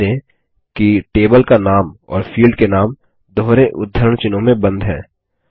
ध्यान दें कि टेबल का नाम और फील्ड के नाम दोहरे उद्धरण चिह्नों में बंद हैं